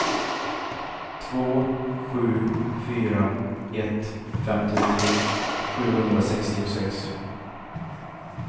två sju fyra ett femtiotre sjuhundrasextiosex